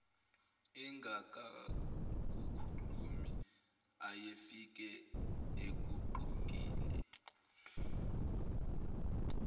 engakakukhumuli ayefike ekugqokile